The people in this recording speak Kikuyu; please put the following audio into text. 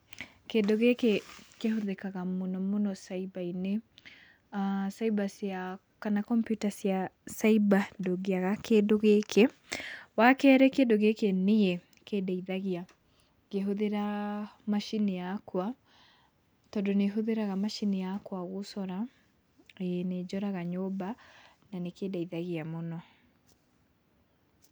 Kindũ gĩkĩ kĩhũthikaga mũno mũno caiba-inĩ, aah caiba cia kana kompiuta cia caiba ndũngĩaga kĩndũ gĩkĩ. Wa kerĩ, kĩndũ gĩkĩ niĩ nĩkĩndeithagia ngĩhũthĩra macini yakwa, tondũ nĩhũthĩraga macini yakwa gũcora, ĩĩ nĩnjoraga nyũmba, na nĩkĩndeithagia mũno.